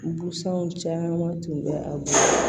Busanw caman tun bɛ a bolo